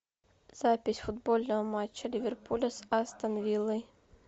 запись футбольного матча ливерпуля с астон виллой